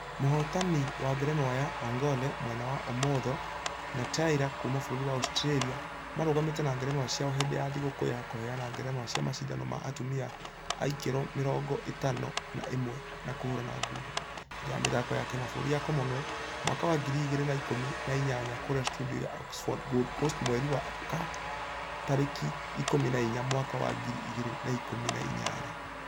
Mũhotani wa ngerenwa ya ....ongare mwena wa ũmotho na taylah kuuma bũrũri wa Australia marũgamĩte na ngerenwa ciao hĩndĩ ya thigũkũ ya kũheana ngerenwa cia mashidano ma atumia a kiro mĩrongo ĩtano na ĩmwe ma kũhũrana ngundi . Hindĩ ya mĩthako ya kĩmabũrũri ya commonwealth ....mwaka wa ngiri igĩrĩ na ikũmi na inyanya kũrĩa studio ya oxenford gold cost mweri wa ka tarĩki ikũmi na inya mwaka wa ngiri igĩrĩ na ikũmi na inyanya.